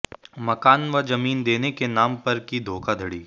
मकान व जमीन देने के नाम पर की धोखाधड़ी